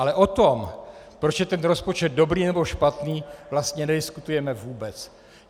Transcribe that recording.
Ale o tom, proč je ten rozpočet dobrý nebo špatný, vlastně nediskutujeme vůbec.